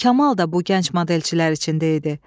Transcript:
Kamal da bu gənc modelçilər içində idi.